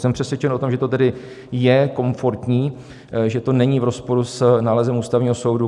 Jsem přesvědčen o tom, že to tedy je komfortní, že to není v rozporu s nálezem Ústavního soudu.